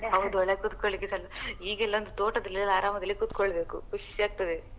ಹೌದು ಒಳಗೆ ಕುತ್ಕೊಲಿಕ್ಕೆಸ ಇಲ್ಲ ಈಗಿಲ್ಲೊಂದ್ ತೋಟದಲ್ಲಿ ಆರಾಮದಲ್ಲಿ ಕುತ್ಕೊಳ್ಬೇಕು ಖುಷಿ ಆಗ್ತದೆ.